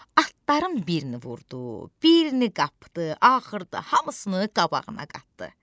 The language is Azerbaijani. Atların birini vurdu, birini qapdı, axırda hamısını qabağına qatdı.